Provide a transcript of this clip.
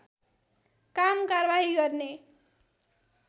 काम कारवाही गर्ने